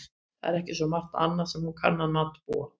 Það er ekki svo margt annað sem hún kann að matbúa.